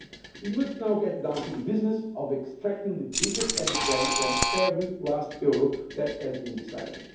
potential. We must now get down to the business of extracting the biggest added value from every last euro that has been